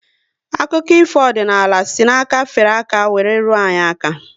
Akụkọ ifo ọdịnala si na aka fere aka were ruo anyị aka